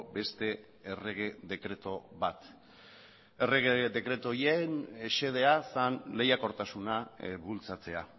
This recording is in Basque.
beste errege dekretu bat errege dekretu horien xedea zen lehiakortasuna bultzatzea